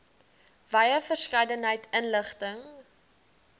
wye verskeidenheid inligting